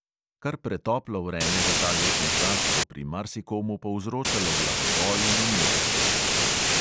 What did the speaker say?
Kar pretoplo vreme za ta letni čas bo pri marsikomu povzročalo glavobol in omotičnost.